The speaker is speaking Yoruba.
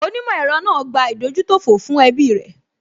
Onímọ̀ ẹ̀rọ náà gbà ìdójútòfò fún ẹbí rẹ̀